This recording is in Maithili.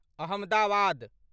अहमदाबाद